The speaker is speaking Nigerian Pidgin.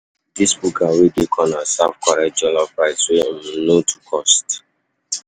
Dis buka wey dey corner serve correct jollof rice wey um no too cost.